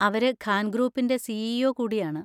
അവര് ഖാൻ ഗ്രൂപ്പിൻ്റെ C. E. O കൂടിയാണ്.